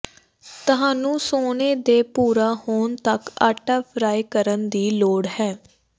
ਤੁਹਾਨੂੰ ਸੋਨੇ ਦੇ ਭੂਰਾ ਹੋਣ ਤੱਕ ਆਟਾ ਫਰਾਈ ਕਰਨ ਦੀ ਲੋੜ ਹੈ